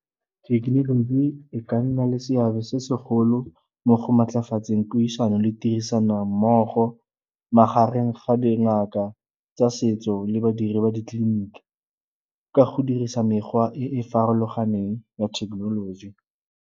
Thekenoloji e ka nna le seabe se segolo mo go maatlafatseng puisano le tirisanommogo magareng ga dingaka tsa setso le badiri ba ditleliniki ka go dirisa mekgwa e e farologaneng ya thekenoloji.